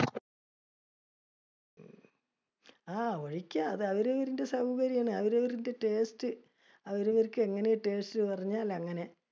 ആ ഒഴിക്കാം, അത് അവരവരുടെ സൗകര്യമാണ് അത് അവരവരുടെ taste. അവരവർക്ക് എങ്ങനെ taste പറഞ്ഞാൽ അങ്ങനെ.